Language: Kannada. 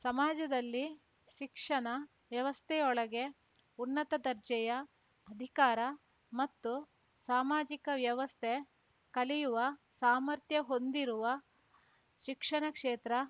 ಸಮಾಜದಲ್ಲಿ ಶಿಕ್ಷಣ ವ್ಯವಸ್ಥೆಯೊಳಗೆ ಉನ್ನತ ದರ್ಜೆಯ ಅಧಿಕಾರ ಮತ್ತು ಸಾಮಾಜಿಕ ವ್ಯವಸ್ಥೆ ಕಲಿಯುವ ಸಾಮರ್ಥ್ಯ ಹೊಂದಿರುವ ಶಿಕ್ಷಣ ಕ್ಷೇತ್ರ